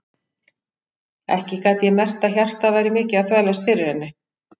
Ekki gat ég merkt að hjartað væri mikið að þvælast fyrir henni.